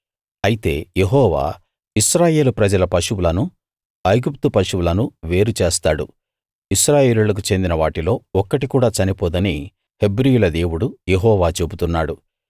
అయితే యెహోవా ఇశ్రాయేలు ప్రజల పశువులను ఐగుప్తు పశువులను వేరు చేస్తాడు ఇశ్రాయేలీయులకు చెందిన వాటిలో ఒక్కటి కూడా చనిపోదని హెబ్రీయుల దేవుడు యెహోవా చెబుతున్నాడు